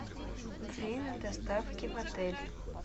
время доставки в отель